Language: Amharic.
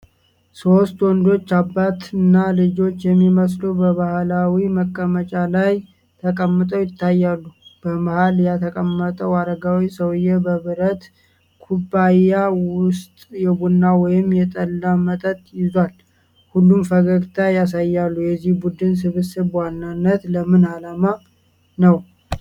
ሶስት ወንዶች፣ አባትና ልጆች የሚመስሉ፣ በባህላዊ መቀመጫ ላይ ተቀምጠው ይታያሉ። በመሃል የተቀመጠው አረጋዊ ሰውዬ በብረት ኩባያ ውስጥ የቡና ወይም የጠላ መጠጥ ይዟል፤ ሁሉም ፈገግታ ያሳያሉ። የዚህ ቡድን ስብሰባ በዋናነት ለምን ዓላማ ነው?